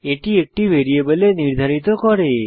এটি একটি ভ্যারিয়েবলে নির্ধারিত করে